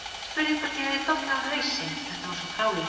Spurði hvort ég hefði dottið á hausinn, þetta var svo fráleitt.